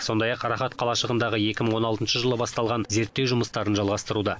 сондай ақ рахат қалашығындағы екі мың он алтыншы жылы басталған зерттеу жұмыстарын жалғастыруда